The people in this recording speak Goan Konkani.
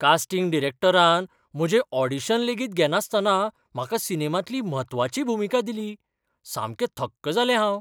कास्टिंग डायरेक्टरान म्हजें ऑडिशन लेगीत घेनासतना म्हाका सिनेमांतली म्हत्वाची भुमिका दिली. सामकें थक्क जालें हांव.